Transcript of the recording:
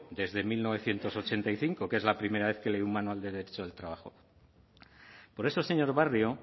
desde mil novecientos ochenta y cinco que es la primera vez que leí un manual de derecho del trabajo por eso señor barrio